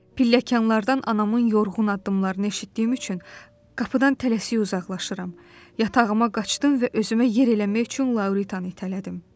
Pilləkənlərdən anamın yorğun addımlarını eşitdiyim üçün qapıdan tələsik uzaqlaşıram, yatağıma qaçdım və özümə yer eləmək üçün Lauritanı itələdim.